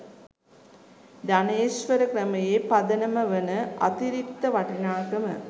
ධනේශ්වර ක්‍රමයේ පදනම වන අතිරික්ත වටිනාකම